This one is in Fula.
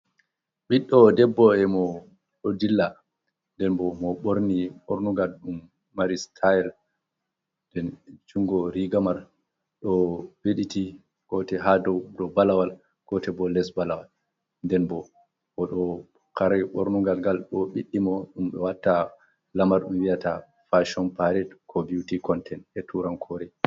Ɓiɗɗo debbo, e mo ɗo dilla, nden bo mo ɓorni bornugal ɗum mari sitaayel nden junngo riga may ɗo ɓedditi gootel haa dow balawal, gootel bo les balawal, nden bo o ɗo kare ɓornungal ngal bo ɓiddi mo, ɗum ɓe watta lamar, ɗum wi'ata faacon paaret, ko biwti kontent e tuurankoore.